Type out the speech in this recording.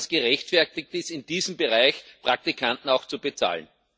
Glauben Sie, dass es gerechtfertigt ist, in diesem Bereich Praktikanten zu bezahlen?